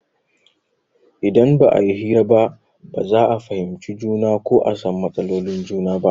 Idan ba a yi hira ba ba za a fahimci juna ko a san matsalolin juna ba.